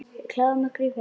Við klæðum okkur í fötin.